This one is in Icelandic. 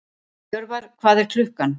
Jörvar, hvað er klukkan?